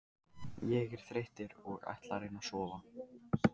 Ég er þreyttur og ætla að reyna að sofna.